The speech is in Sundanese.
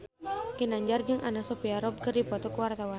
Ginanjar jeung Anna Sophia Robb keur dipoto ku wartawan